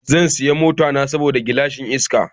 Zan siya ma mota na sabon gilashin iska.